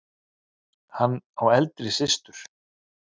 Hann á eldri systur.